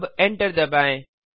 अब एंटर दबाएँ